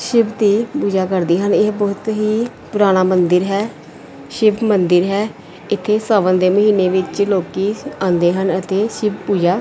ਸ਼ਿਵ ਦੀ ਪੂਜਾ ਕਰਦੇ ਹਨ ਇਹ ਬਹੁਤ ਹੀ ਪੁਰਾਣਾ ਮੰਦਿਰ ਹੈ ਸ਼ਿਵ ਮੰਦਿਰ ਹੈ ਇੱਥੇ ਸਾਵਨ ਦੇ ਮਹੀਨੇ ਵਿੱਚ ਲੋਕੀ ਆਉਂਦੇ ਹਨ ਅਤੇ ਸ਼ਿਵ ਪੂਜਾ --